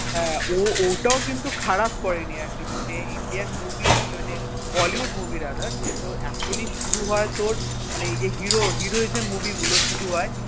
হ্যাঁ ও ওটাও কিন্তু খারাপ করেনি atleast ইন্ডিয়ান movie মানে bollywood movie rather যে তোর actually শুরু হয় তোর মানে এই যে hero heroism movie গুলো শুরু হয়